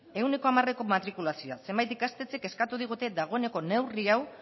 ehuneko hamareko matrikulazioa zenbait ikastetxek eskatu digute dagoeneko neurri hau